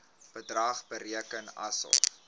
bedrag bereken asof